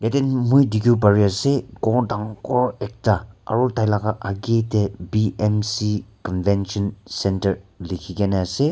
nnn moi dikhibole pari ase ghor dangor ekta aro tai laga age te BMC convention Centre likhi kena ase.